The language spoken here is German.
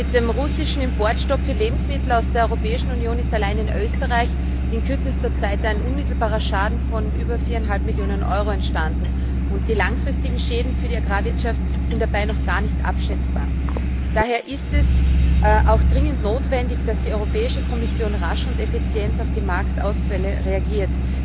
Mit dem russischen Importstopp für Lebensmittel aus der Europäischen Union ist allein in Österreich in kürzester Zeit ein unmittelbarer Schaden von über 4,5 Millionen Euro entstanden, und die langfristigen Schäden für die Agrarwirtschaft sind dabei noch gar nicht abschätzbar. Daher ist es auch dringend notwendig, dass die Europäische Kommission rasch und effizient auf die Marktausfälle reagiert.